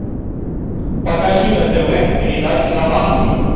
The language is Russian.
покажи на тв передачу домашний